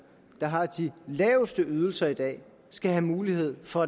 der har de laveste ydelser i dag skal have mulighed for